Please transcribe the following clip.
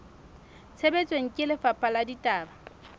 tshebetsong ke lefapha la ditaba